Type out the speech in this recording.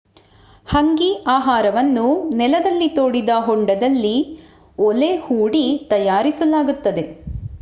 ಹಂಗೀ ಆಹಾರವನ್ನು ನೆಲದಲ್ಲಿ ತೋಡಿದ ಹೊಂಡದಲ್ಲಿ ಓಲೆ ಹೂಡಿ ತಯಾರಿಸಲಾಗುತ್ತದೆ